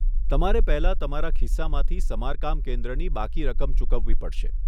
તમારે પહેલા તમારા ખિસ્સામાંથી સમારકામ કેન્દ્રની બાકી રકમ ચૂકવવી પડશે.